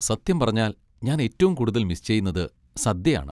സത്യം പറഞ്ഞാൽ ഞാൻ ഏറ്റവും കൂടുതൽ മിസ് ചെയ്യുന്നത് സദ്യ ആണ്.